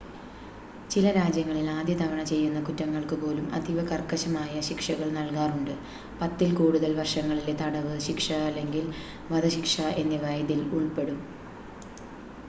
ചില രാജ്യങ്ങളിൽ ആദ്യതവണ ചെയ്യുന്ന കുറ്റങ്ങൾക്കു പോലും അതീവ കർക്കശമായ ശിക്ഷകൾ നൽകാറുണ്ട് ; 10 ൽ കൂടുതൽ വർഷങ്ങളിലെ തടവ് ശിക്ഷ അല്ലെങ്കിൽ വധശിക്ഷ എന്നിവ ഇതിൽ ഉൾപ്പെടും